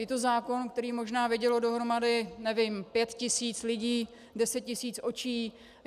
Je to zákon, který možná vidělo dohromady, nevím, pět tisíc lidí, deset tisíc očí.